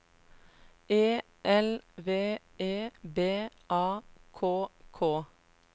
E L V E B A K K